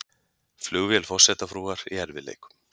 Flugvél forsetafrúar í erfiðleikum